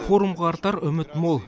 форумға артар үміт мол